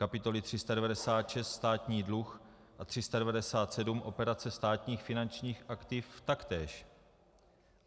Kapitoly 396 Státní dluh, a 397 Operace státních finančních aktiv taktéž.